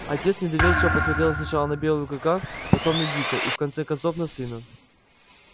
отец недоверчиво посмотрел сначала на белого клыка потом на дика и в конце концов на сына